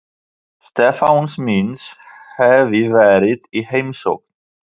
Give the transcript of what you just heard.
Stefáns míns hafi verið í heimsókn.